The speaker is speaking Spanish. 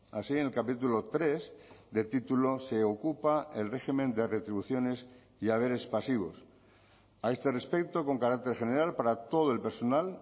así en el capítulo tres del título se ocupa el régimen de retribuciones y haberes pasivos a este respecto con carácter general para todo el personal